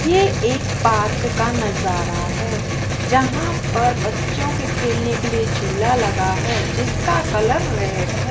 ये एक पार्क का नजारा है जहां पर बच्चों के खेलने के लिए झूला लगा है जिसका कलर रेड है।